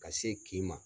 Ka se k'i ma